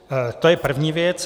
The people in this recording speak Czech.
To je první věc.